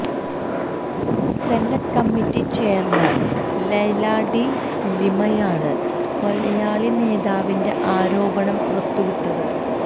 senate committee chairman Leila de ലിമയാണ് കൊലയാളി നേതാവിന്റെ ആരോപണം പുറത്തുവിട്ടത്